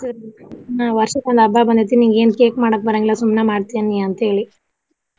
ಕೆಡಸಿರ್ ಹ್ಮ ವರ್ಷಕ್ಕ ಒಂದ ಹಬ್ಬ ಬಂದೇತಿ ನಿಂಗ ಏನ cake ಮಾಡಾಕ ಬರಾಂಗಿಲ್ಲಾ ಸುಮ್ನೆ ಮಾಡ್ತಿ ಏನ ನೀ ಅಂತ ಹೇಳಿ.